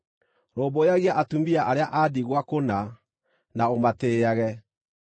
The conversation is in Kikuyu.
Rũmbũyagia atumia arĩa a ndigwa kũna, na ũmatĩĩage.